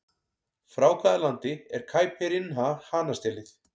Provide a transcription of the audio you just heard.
Frá hvaða landi er Caipirinha hanastélið?